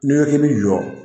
N'i ko bi jɔ